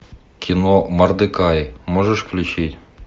кино мордекай можешь включить